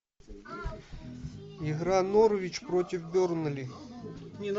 игра норвич против бернли